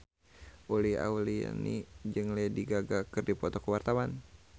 Uli Auliani jeung Lady Gaga keur dipoto ku wartawan